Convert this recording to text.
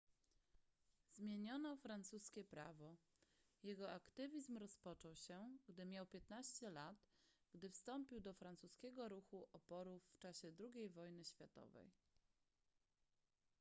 zmieniono francuskie prawo jego aktywizm rozpoczął się gdy miał 15 lat gdy wstąpił do francuskiego ruchu oporu w czasie ii wojny światowej